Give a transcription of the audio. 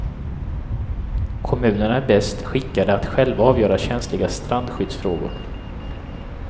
Kommunerna är bäst skickade att själva avgöra känsliga strandskydddsfrågor.